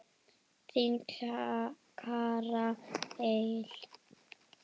Þín, Kara Eir.